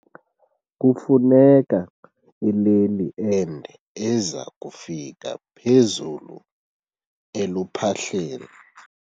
Kufuneka ileli ende eza kufika phezulu eluphahleni.